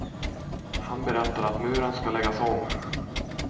Han berättar att muren skall läggas om.